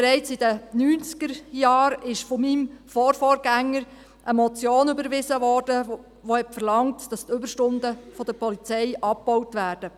Bereits in den Neunzigerjahren wurde von meinem Vorvorgänger eine Motion überwiesen, welche verlangte, dass die Überstunden der Polizei abgebaut werden.